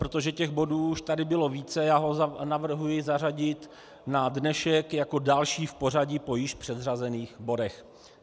Protože těch bodů už tady bylo více, já ho navrhuji zařadit na dnešek jako další v pořadí po již předřazených bodech.